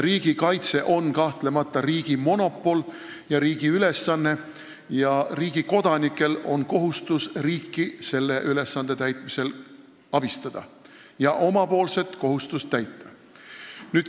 Riigikaitse on kahtlemata riigi monopol ja riigi ülesanne ning riigi kodanikel on kohustus riiki selle ülesande täitmisel abistada ja omapoolset kohustust täita.